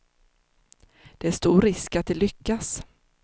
Det är stor risk att de lyckas.